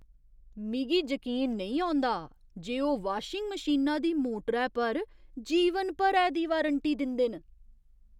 मिगी जकीन नेईं औंदा जे ओह् वाशिंग मशीना दी मोटरै पर जीवन भरै दी वारंटी दिंदे न।